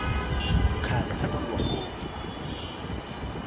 khale aku lwiwa ngopfu